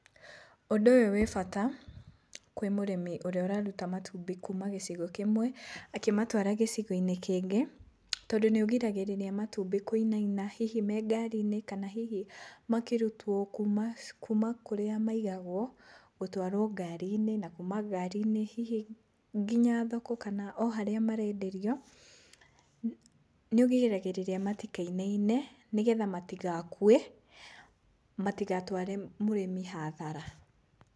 Ũndũ ũyũ wĩ bata kwĩ mũrĩmi ũrĩa ũraruta matumbĩ kuma gĩcigo kĩmwe akĩmatwara gĩcigo-inĩ kĩngĩ, tondũ nĩũgiragĩrĩria matumbĩ kũinaina, hihi me ngari-inĩ kana hihi makĩrutwo kuma kuma kũrĩa maigagwo gũtwarwo ngari-inĩ, na kuma ngari-inĩ hihi nginya thoko kan o harĩa marenderio, nĩũgiragĩrĩria matikainaine nĩgetha matigakue, matigatware mũrĩmi hathara.